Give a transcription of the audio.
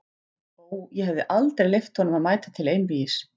Ó, ég hefði aldrei leyft honum að mæta til einvígis!